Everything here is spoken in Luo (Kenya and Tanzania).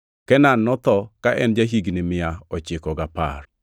Kenan notho ka en ja-higni mia ochiko gapar.